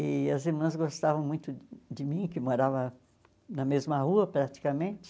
E as irmãs gostavam muito de mim, que morava na mesma rua praticamente.